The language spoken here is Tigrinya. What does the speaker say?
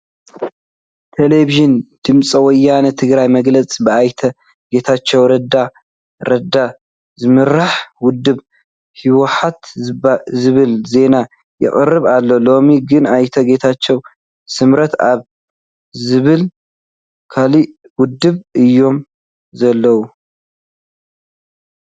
ቴለብዥን ድምፂ ወያን ትግራይ መግለፂ ብኣይተ ጌታቸው ረዳ ረዳ ዝምራሕ ውድብ ህወሓት ዝብል ዜና የቕርብ ኣሎ፡፡ ሎሚ ግን ኣይተ ጌታቸው ስምረት ኣብ ዝብሃል ካልእ ውድብ እዮም ዘለዉ፡፡